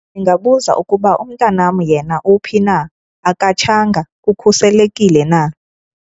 Ndingabuza ukuba umntanam yena uphi na? Akatshanga? Ukhuselekile na?